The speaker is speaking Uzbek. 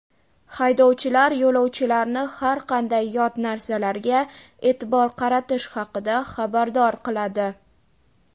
Haydovchilar yo‘lovchilarni har qanday yot narsalarga e’tibor qaratish haqida xabardor qiladi.